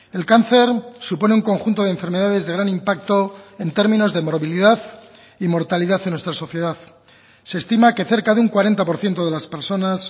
el cáncer supone un conjunto de enfermedades de gran impacto en términos de morbilidad y mortalidad en nuestra sociedad se estima que cerca de un cuarenta por ciento de las personas